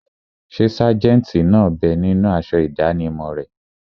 Ṣé sájẹ̀ntì náà bẹ ninú aṣọ ìdánimọ̀ rẹ̀?